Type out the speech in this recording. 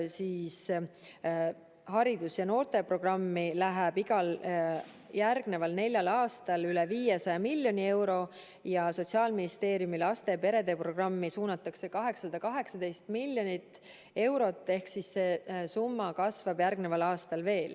Haridus- ja noorteprogrammi läheb järgneval neljal aastal igal aastal üle 500 miljoni euro ja Sotsiaalministeeriumi laste ja perede programmi suunatakse 818 miljonit eurot ehk siis see summa kasvab järgmisel aastal veel.